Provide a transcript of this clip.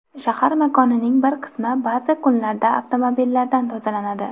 Shahar makonining bir qismi ba’zi kunlarda avtomobillardan tozalanadi.